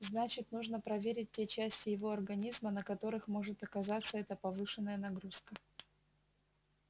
значит нужно проверить те части его организма на которых может сказаться эта повышенная нагрузка